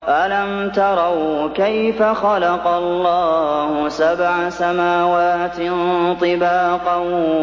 أَلَمْ تَرَوْا كَيْفَ خَلَقَ اللَّهُ سَبْعَ سَمَاوَاتٍ طِبَاقًا